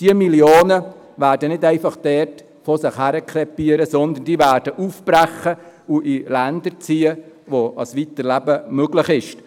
Diese Millionen werden nicht einfach vor sich hin krepieren, sondern sie werden aufbrechen und in Länder ziehen, wo ein Weiterleben möglich ist.